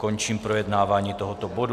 Končím projednávání tohoto bodu.